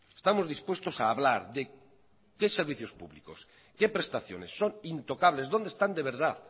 estamos dispuestos a hablar de qué servicios públicos qué prestaciones son intocables dónde están de verdad